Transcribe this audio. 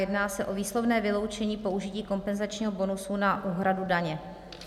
Jedná se o výslovné vyloučení použití kompenzačního bonusu na úhradu daně.